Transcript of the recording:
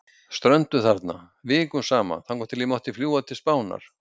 Strönduð þarna, vikum saman, þangað til ég mátti fljúga til Spánar.